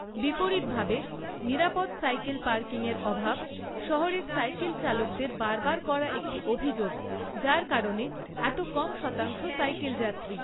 বিপরীতভাবে, নিরাপদ সাইকেল পার্কিংয়ের অভাব শহরের সাইকেল চালকদের বারবার করা একটি অভিযোগ, যার কারণে এত কম শতাংশ সাইকেলযাত্রী।